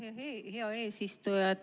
Aitäh, hea eesistuja!